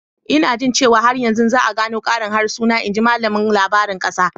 Ina jin cewa har yanzu za a gano ƙarin harsuna, in ji malamin labarin ƙasa.